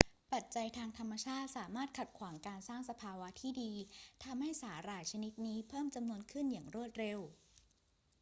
ปัจจัยทางธรรมชาติสามารถขัดขวางการสร้างสภาวะที่ดี ทำให้สาหร่ายชนิดนี้เพิ่มจำนวนขี้นอย่างรวดเร็ว